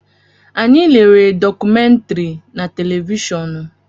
Anyị lere dọkumentiri na televishọọnu.